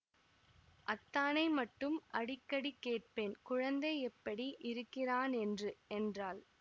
அத்தானை மட்டும் அடிக்கடி கேட்பேன் குழந்தை எப்படி இருக்கிறானென்று என்றாள்